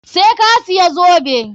Sai ka siya zobe!